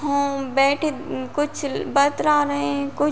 हूँम बैठे कुछ बत्रा रहे हैं कुछ --